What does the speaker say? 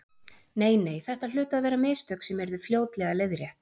Nei, nei, þetta hlutu að vera mistök sem yrðu fljótlega leiðrétt.